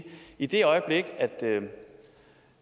i det øjeblik